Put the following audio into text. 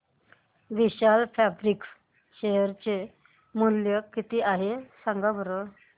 विशाल Fabrics share चे मूल्य किती आहे सांगा बरं